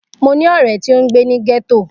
Mo ni ọrẹ ti o ngbe ni getto.